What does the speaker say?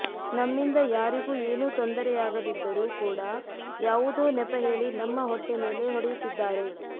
ನಮ್ಮಿಂದ ಯಾರಿಗೂ ಏನೂ ತೊಂದರೆಯಾಗದಿದ್ದರೂ ಕೂಡಾ ಯಾವುದೋ ನೆಪಹೇಳಿ ನಮ್ಮ ಹೊಟ್ಟೆ ಮೆಲೆ ಹೊಡೆಯುತ್ತಿದ್ದಾರೆ